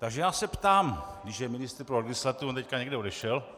Takže já se ptám, když je ministr pro legislativu, on teď někde odešel...